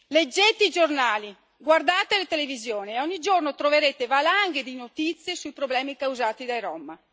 Leggete i giornali, guardate la televisione e ogni giorno troverete valanghe di notizie sui problemi causati dai rom.